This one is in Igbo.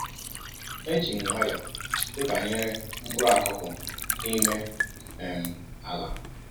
Eji m m nwayọọ pịbanyere mkpụrụ akụkụ n'ime um ala